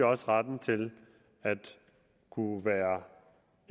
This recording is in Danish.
også retten til at kunne være